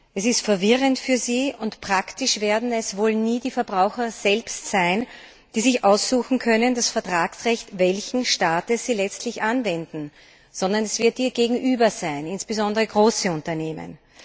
Es ist verwirrend für sie, und praktisch werden es wohl nie die Verbraucher selbst sein, die sich aussuchen können, das Vertragsrecht welchen Staates sie letztlich anwenden, sondern es wird ihr Gegenüber sein, insbesondere große Unternehmen.